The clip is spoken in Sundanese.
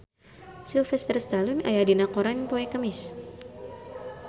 Sylvester Stallone aya dina koran poe Kemis